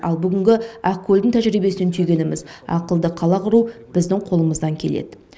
ал бүгінгі ақкөлдің тәжірибесінен түйгеніміз ақылды қала құру біздің қолымыздан келеді